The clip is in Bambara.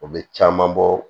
U bɛ caman bɔ